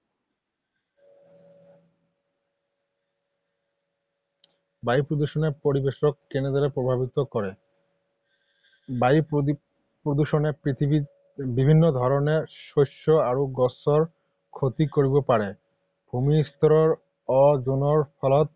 বায়ু প্ৰদূষণে পৰিৱেশক কেনেদৰে প্ৰভাৱিত কৰে? বায়ু প্ৰদূষণে পৃথিৱীত বিভিন্ন ধৰণে শস্য আৰু গছৰ ক্ষতি কৰিব পাৰে। ভূমি-স্তৰৰ অ’জনৰ ফলত